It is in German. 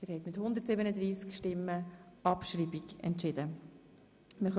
Sie haben die Abschreibung von Ziffer 2 beschlossen.